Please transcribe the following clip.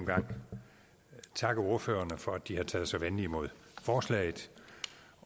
gang takke ordførerne for at de har taget så venligt imod forslaget